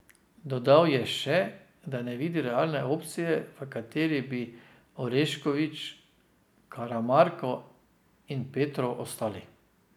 Dodal je še, da ne vidi realne opcije, v kateri bi Orešković, Karamarko in Petrov ostali.